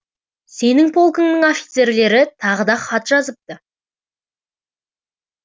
сенің полкыңның офицерлері тағы да хат жазыпты